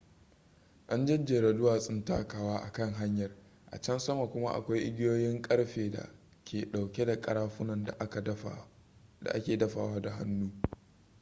an jejjera duwatsun takawa a kan hanyar a can sama kuma akwai igiyoyin karfe da ke dauke da karafunan da ake dafawa da hannu